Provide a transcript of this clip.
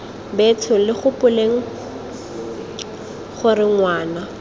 betsho lo gopoleng gore ngwana